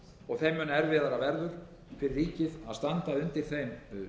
og þeim mun erfiðara verður fyrir ríkið að standa undir þeim